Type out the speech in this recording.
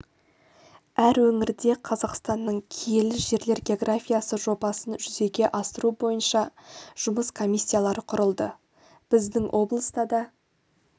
әр өңірде қазақстанның киелі жерлер географиясы жобасын жүзеге асыру бойынша жұмыс комиссиялары құрылды біздің облыста да